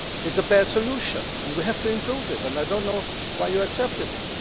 It is a bad solution and we have to improve it, and I do not know why you accepted it.